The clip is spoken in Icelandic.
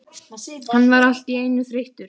Hann varð allt í einu þreyttur.